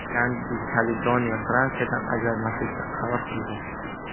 Yangi Kaledoniya Fransiyadan ajralmaslikka qaror qildi.